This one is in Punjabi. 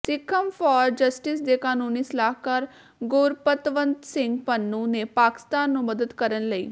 ਸਿੱਖਸ ਫਾਰ ਜਸਟਿਸ ਦੇ ਕਾਨੂੰਨੀ ਸਲਾਹਕਾਰ ਗੁਰਪਤਵੰਤ ਸਿੰਘ ਪੰਨੂ ਨੇ ਪਾਕਿਸਤਾਨ ਨੂੰ ਮਦਦ ਕਰਨ ਲਈ